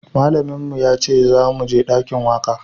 Malamin mu ya ce za mu je dakin waka